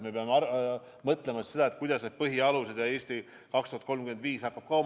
Me peame mõtlema, kuidas need põhialused haakuvad "Eesti 2035-ga".